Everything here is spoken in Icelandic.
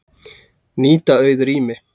Nýta auð rými